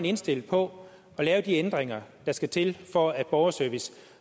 indstillet på at lave de ændringer der skal til for at borgerservice